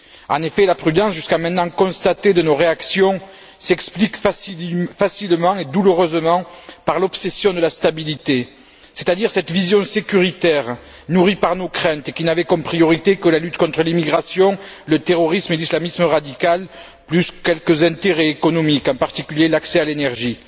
En effet, la prudence de nos réactions constatée jusqu'à maintenant s'explique facilement et douloureusement par l'obsession de la stabilité, c'est à dire cette vision sécuritaire nourrie par nos craintes et qui n'avait comme priorité que la lutte contre l'immigration, le terrorisme et l'islamisme radical, plus quelques intérêts économiques, en particulier l'accès à l'énergie.